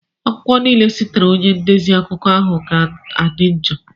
akwụkwọ niile sitere na onye ndezi akụkọ ahụ ga-adị njọ.